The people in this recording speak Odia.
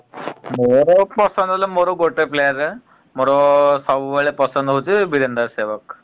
ମୋର ପସନ୍ଦ ହେଲେ ମୋର ଗୋଟେ player ମୋର ସବୁବେଳେ ପସନ୍ଦ ହଉଚି ବିରେନ୍ଦ୍ର ସେବକ୍ ।